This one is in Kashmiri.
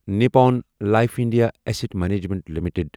Nippon life India asset management limited